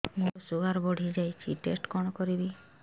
ମୋର ଶୁଗାର ବଢିଯାଇଛି ଟେଷ୍ଟ କଣ କରିବି